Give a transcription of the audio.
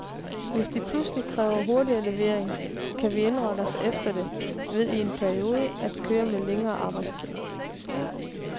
Hvis de pludselig kræver hurtigere levering, kan vi indrette os efter det ved i en periode at køre med længere arbejdstid.